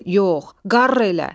Yox, qarr elə!